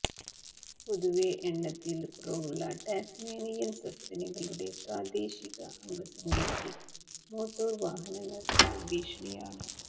പൊതുവേ എണ്ണത്തിൽ കുറവുള്ള ടാസ്മാനിയൻ സസ്തനികളുടെ പ്രാദേശിക അംഗസംഖ്യയ്ക്ക് മോട്ടോർ വാഹനങ്ങൾ ഒരു ഭീഷണിയാണ്